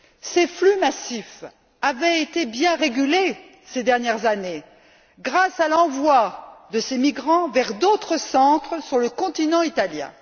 Ces flux massifs avaient été bien régulés ces dernières années grâce à l'envoi de ces migrants vers d'autres centres sur le continent italien.